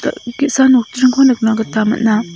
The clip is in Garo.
ge·sa nokdringko nikna gita man·a.